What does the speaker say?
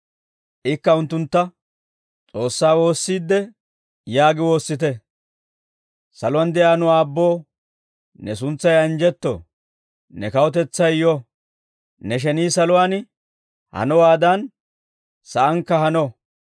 Ikka unttuntta, «S'oossaa woossiidde yaagi woossite: « ‹Saluwaan de'iyaa nu aabboo, ne suntsay anjjetto; ne kawutetsay yo; ne shenii saluwaan hanowaadan saankka hano;